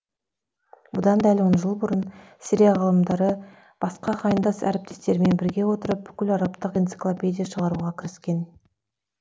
бұдан дәл он жыл бұрын сирия ғалымдары басқа ағайындас әріптестермен біріге отырып бүкіл арабтық энциклопедия шығаруға кіріскен